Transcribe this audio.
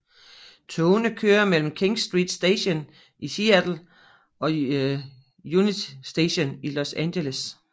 Togene kører mellem King Street Station i Seattle og Union Station i Los Angeles